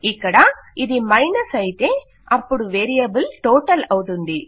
ఇక్కడ ఇది మైనస్ అయితే అపుడు వేరియబుల్ టోటల్అవుతుంది